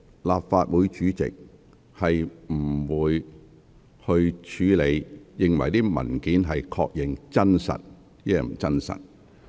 立法會主席不會確認有關文件內容是否屬實。